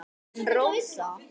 En Rósa?